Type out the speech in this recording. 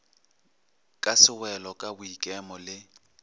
ka sewelo ka boikemo le